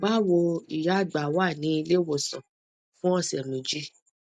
bawo ìyá àgbà wà ní ilé ìwòsàn fún ọsẹ méjì